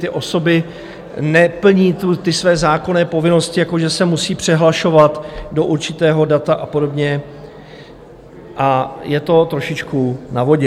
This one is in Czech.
Ty osoby neplní své zákonné povinnosti, jako že se musí přihlašovat do určitého data a podobně, a je to trošičku na vodě.